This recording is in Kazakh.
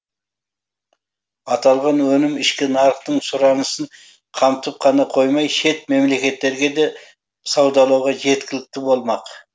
аталған өнім ішкі нарықтың сұранысын қамтып қана қоймай шет мемлекеттерге де саудалауға жеткілікті болмақ